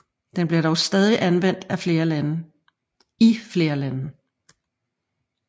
Den bliver dog stadig anvendt i flere lande